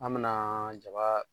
An me na jaba